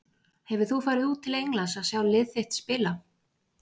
Hefur þú farið út til Englands að sjá lið þitt spila?